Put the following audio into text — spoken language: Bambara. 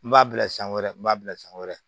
N b'a bila san wɛrɛ n b'a bila san wɛrɛ